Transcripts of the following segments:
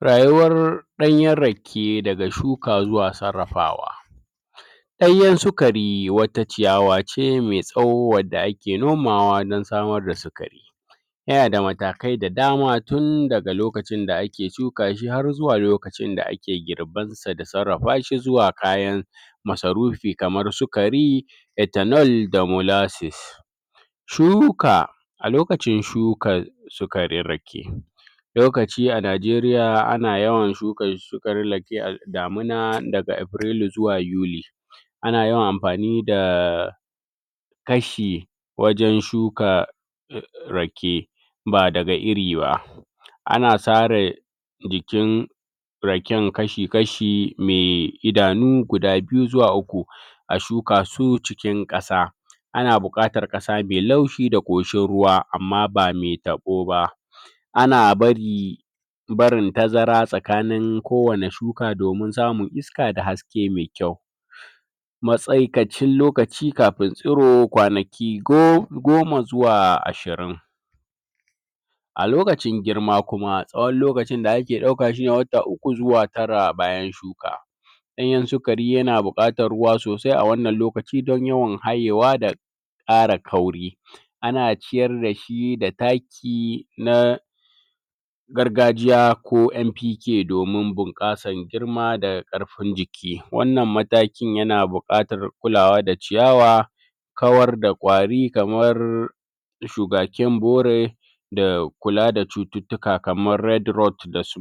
Rayuwar danyen rake da shuka zuwa sarrafawa Danyen wata ciyawa ce me tsawo da ake nomawa don samar da yana da matakai da dama tun daga lokacin da ake shuka shi har zuwa lokacin da ake girban sa da tsarrafa shi zuwa kayan masarufi kaman su kari ethanol da Shuka, a lokacin shukara sukarin rake, lokaci a Najeriya ana yawan shuka rake a damina daga zuwa yuli ana yawan amfani da kashi wajen shuka rake ba daga iri ba ana tsare jikin raken kashi kashi me idanu guda biyu zuwa uku a shuka su cikin kasa ana bukatr kasa me laushi da koshin ruwa amma ba me tabo ba ana bari barin tazara tsakanin kowani shuka domin samun iska da haske me kyau masaikacin lokaci kafin siro kwanaki goma zuwa ashirin A lokacin girma kuma, tsowon lokacin da ake dauka shi shi ne wta uku zuwa tara bayan shuka. Danyen shukari yana bukatan ruwa sosai a wannan lokaci do yawan da kara kauri ana ciyar da shi da taki na gargajiya ko MPK domin bunkasan girma da karfin jiki. Wannan mataki yana bukatar kulawa da ciyawa kawar da kwari kamar shugaken bore da kula da cuttutuka kamar da s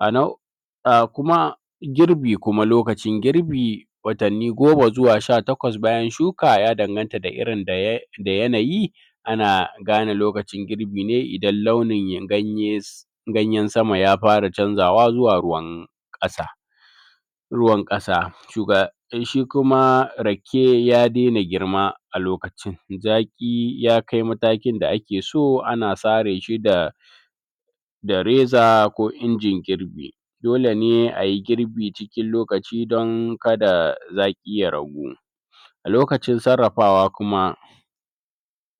A na da kuma girbi kuma, lokacin girbi, watanni goma zuwa sha takwas bayan shuka ya danganta da irin da yanayi ana gane lokacin girbi ne idan launin ganye ganyen sama ya fara canzawa zuwa ruwan kasa. ruwan kasa, in shi kuma rake ya dena girma a lokacin, zaki ya kai matakin da ake so ana tsare shi da reza ko injin girbi dole ne ayi girbi cikin lokaci don kada zaki ya ragu. Lokacin tsarrafawa kuma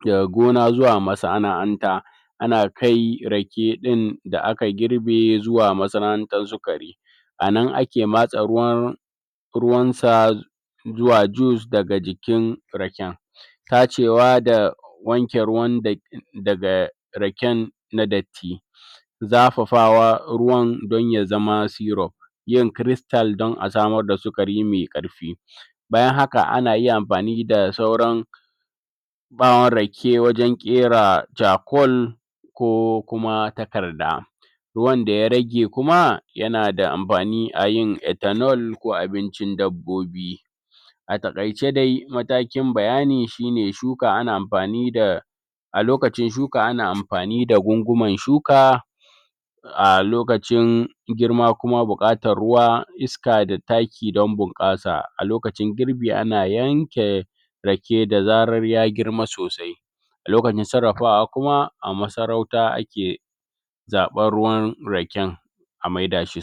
da gona zuwa masa ana hanta ana kai rake din da aka girbe zuwa ruwan sa zuwa juice daga jikin raken tacewa da wanke ruwan da daga raken na datti zafafawa ruwan don ya zama syrup yin crystal don a samar da su kari ne karfi bayan haka ana yi amfani da sauran bawun rake wajen kera charcoal ko kuma takarda wanda ya rage kuma, yana da amfani a yin ethanol ko abincin dabbobi a takaice de matakin bayani shi ne shuka ana amfani da a lokacin shuka ana amfani da shuka a lokacin girma kuma bukatan ruwa, iska da taki don bunkasa a lokacin girbi ana yanke rake da zarar ya girma sosai lokacin tsarrafawa kuma, a masarauta ake zabar ruwan raken a mai da shi